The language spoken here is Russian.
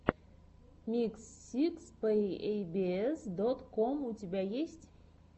микс сикс пэк эй би эс дот ком у тебя есть